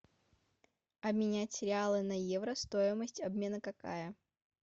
обменять реалы на евро стоимость обмена какая